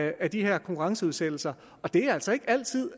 af de her konkurrenceudsættelser og det er altså ikke altid